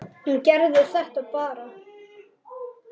Hún gerði þetta bara.